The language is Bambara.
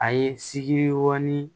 A ye siki ŋɔni